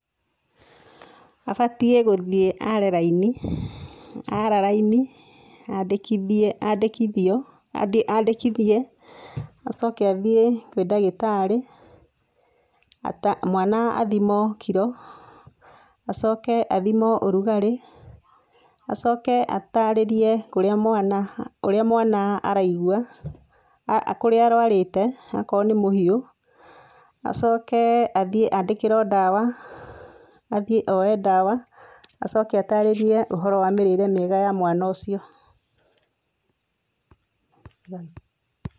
Abatĩe gũthĩĩ aare raĩni aara raínĩ andĩkĩthĩe, aandĩkĩthĩo andĩkĩthĩe acoke athĩĩe kwĩ ndagĩtarĩ mwana athĩmo kĩro acoke athĩmo ũrũgarĩ acoke ataarĩrĩe kũrĩa mwana ũrĩa mwana araĩgũa, kurĩa arwarĩte akoro nĩ mũhĩo acoke athĩe aandĩkĩro ndawa athĩe oe ndawa acoke atarĩrĩe ũhũro wa mĩĩrĩre mĩega ya mwana ũcĩo.